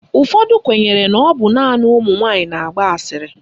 Ụfọdụ kwenyere na ọ bụ naanị ụmụnwaanyị na-agba asịrị.